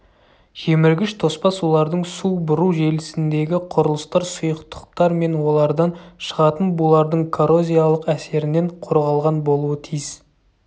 жеміргіш тоспа сулардың су бұру желісіндегі құрылыстар сұйықтықтар мен олардан шығатын булардың коррозиялық әсерінен қорғалған болуы тиіс